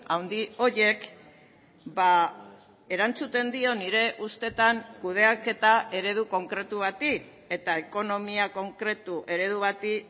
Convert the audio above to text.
handi horiek erantzuten dio nire ustetan kudeaketa eredu konkretu bati eta ekonomia konkretu eredu bati